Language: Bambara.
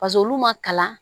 paseke olu ma kalan